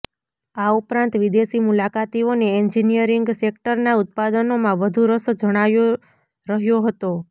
આ ઉપરાંત વિદેશી મુલાકાતીઓને એન્જીનીયરીંગ સેકટરના ઉત્પાદનોમાં વધુ રસ જણાય રહ્યો હતો